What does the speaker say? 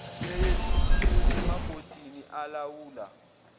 seyethuliwe emabhodini alawula